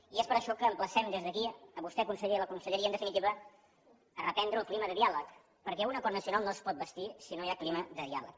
i és per això que l’emplacem des d’aquí a vostè conseller a la conselleria en definitiva a reprendre el clima de diàleg perquè un acord nacional no es pot bastir si no hi ha clima de diàleg